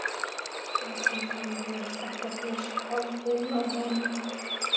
Stefán kannaðist ekkert við svipinn á honum.